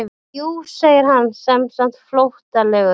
Jú segir hann semsagt flóttalegur.